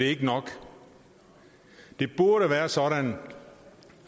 ikke nok det burde være sådan